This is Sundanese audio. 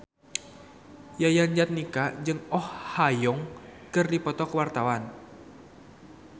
Yayan Jatnika jeung Oh Ha Young keur dipoto ku wartawan